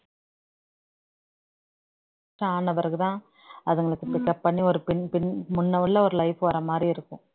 ஆன பிறகுதான் அதுங்களுக்கு pick up பண்ணி ஒரு பின் பின் முன்ன உள்ள ஒரு life வர மாதிரி இருக்கும்